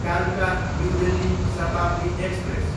कालका, New Delhi Shatabdi express